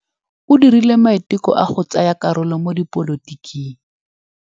O dirile maitekô a go tsaya karolo mo dipolotiking.